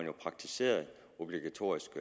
har praktiseret obligatorisk